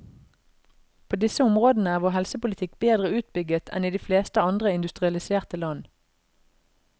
På disse områdene er vår helsepolitikk bedre utbygget enn i de fleste andre industrialiserte land.